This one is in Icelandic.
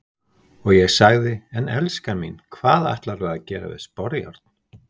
Og ég sagði:- En elskan mín, hvað ætlarðu að gera við sporjárn?